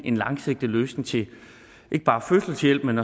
en langsigtet løsning til ikke bare fødselshjælp men